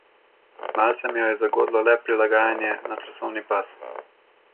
Malce mi jo je zagodlo le prilagajanje na časovni pas.